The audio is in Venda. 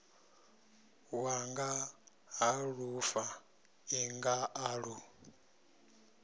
wanga ha lufaṱinga a lu